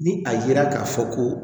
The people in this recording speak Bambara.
Ni a yera k'a fɔ ko